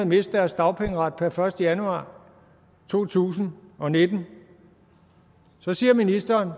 miste deres dagpengeret per første januar to tusind og nitten så siger ministeren